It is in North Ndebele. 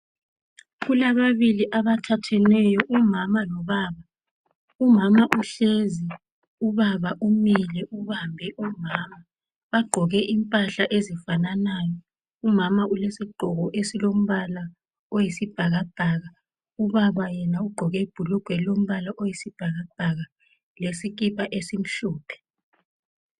Kulababili abathatheneyo umama lobaba umama uhlezi ubaba umile ubambe u mama bagqoke impahla ezifananayo umama ulesigqoko esilombala wesibhakabhaka ubaba yena ugqoke ibhulugwe elilombala oyisibhakabhaka lesikipa esimhlophe